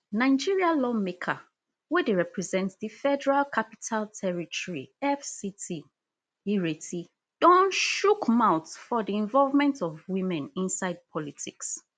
nigeria lawmaker wey dey represent di federal capital territory fct ireti don chook mouth for di involvement of women inside politics